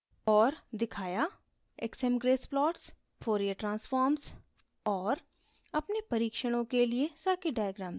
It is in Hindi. और दिखाया: